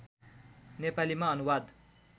नेपालीमा अनुवाद